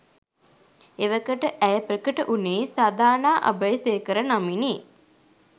එවකට ඇය ප්‍රකට වුණේ සධානා අබේසේකර නමිනි.